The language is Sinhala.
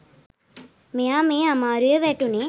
මෙයා මේ අමාරුවේ වැටුණේ.